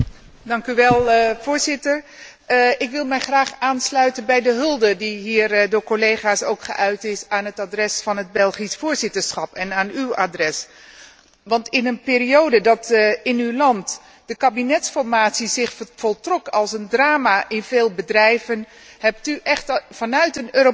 Voorzitter, ik wil mij graag aansluiten bij de hulde die hier door collega's is geuit aan het adres van het Belgisch voorzitterschap en aan uw adres, want in een periode waarin de kabinetsformatie in uw land zich voltrok als een drama in veel bedrijven, hebt u echt vanuit een Europese spirit